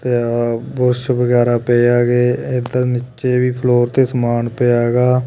ਤੇ ਆਹ ਬੁਰਸ਼ ਵਗੈਰਾ ਪਏ ਹੈਗੇ ਏਦਰ ਨੀਚੇ ਵੀ ਫਲੋਰ ਤੇ ਸਮਾਨ ਪਿਆ ਹੈਗਾ।